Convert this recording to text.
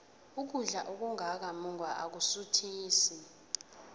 ukudla okungaka mungwa akusuthisi